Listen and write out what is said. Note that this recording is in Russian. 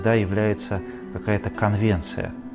да является какая-то конвенция